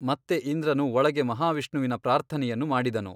ಮತ್ತೆ ಇಂದ್ರನು ಒಳಗೆ ಮಹಾವಿಷ್ಣುವಿನ ಪ್ರಾರ್ಥನೆಯನ್ನು ಮಾಡಿದನು.